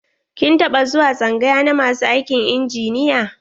Kin taɓa zuwa tsangaya na masu aikin injiniya?